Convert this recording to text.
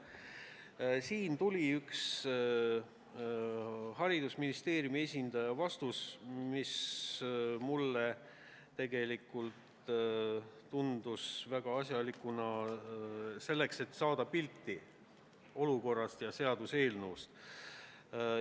Selle peale tuli ühe haridusministeeriumi esindaja vastus, mis mulle väga asjalik tundus ja andis parema pildi olukorrast ja seaduseelnõust.